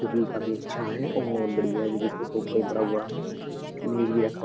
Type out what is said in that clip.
जो कि काफी अच्छा है और बढ़िया है जो कि इसपे सोफा भी बड़ा हुआ है। इसपे मेज भी रखा --